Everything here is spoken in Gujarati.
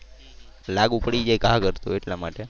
લાગુ પડી જાય ઘા કરતો એટલા માટે.